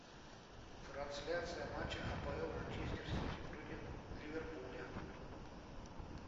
трансляция матча апл манчестер сити против ливерпуля